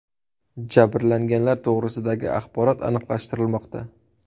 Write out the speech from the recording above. Jabrlanganlar to‘g‘risidagi axborot aniqlashtirilmoqda.